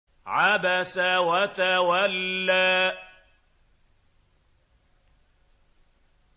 عَبَسَ وَتَوَلَّىٰ